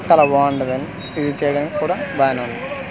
చాలా బాగుంటది అండి యూజ్ చేయడానికి కూడా బానే ఉంది .